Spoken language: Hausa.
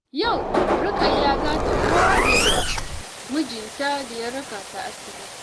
Yau, Rukayya za ta gode wa mijinta da ya raka ta asibiti.